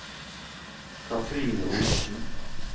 Katrine Olsen